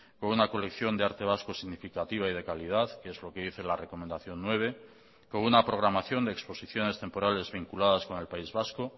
con una colección de arte vasco significativa y de calidad que es lo que dice la recomendación nueve con una programación de exposiciones temporales vinculadas con el país vasco